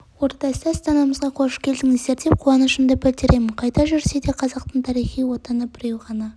ордасы астанамызға қош келдіңіздер деп қуанышымды білдіремін қайда жүрсе де қазақтың тарихи отаны біреу ғана